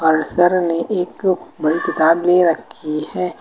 Sir ने एक एक बड़ी किताबें रखी हैं।